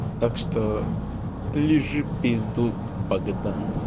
так что лижи пизду богдан